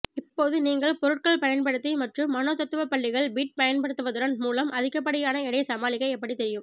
இப்போது நீங்கள் பொருட்கள் பயன்படுத்தி மற்றும் மனோதத்துவப்பள்ளிகள் பிட் பயன்படுத்துவதன் மூலம் அதிகப்படியான எடை சமாளிக்க எப்படி தெரியும்